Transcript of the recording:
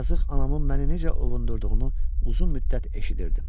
Yazıq anamın məni necə ovundurduğunu uzun müddət eşidirdim.